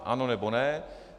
Ano, nebo ne.